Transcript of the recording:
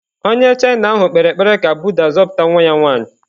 Onye China ahụ kpere ekpere ka Buddha zọpụta nwa ya nwanyị.